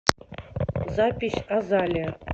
запись азалия